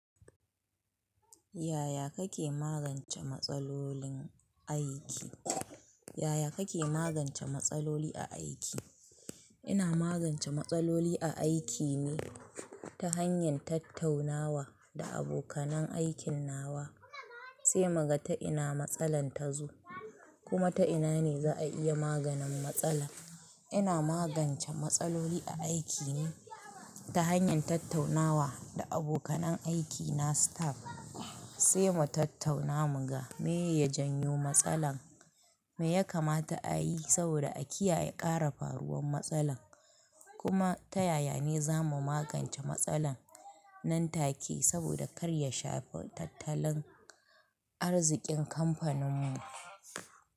Yaya kake magance matsalolin aiki? Yaya kake magance matsaloli a aiki? Ina magance matsaloli a aiki ne ta hanyar tattaunawa da abokan aikin nawa sai muka ta'ina matsalar ta zo kuma ta'ina ne za a iya maganin matsala. Ina magance matsaloli a aiki ne ta hanyar tattaunawa da abokan aiki na staff sai mu tattauna muga me ye janyo matsalar, me ya kamata a yi saboda a kiyaye ƙara faruwan matsalar kuma ta yaya ne za mu magance matsalar nan take saboda kar ya shafi tattalin arzikin kamfanin mu.